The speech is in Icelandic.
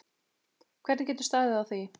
Hvernig getur staðið á því?